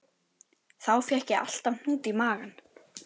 Þá fékk ég alltaf hnút í magann.